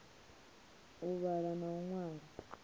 u vhala na u ṅwala